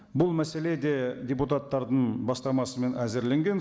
бұл мәселе де депутаттардың бастамасымен әзірленген